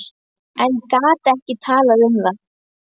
En gat ekki talað um það.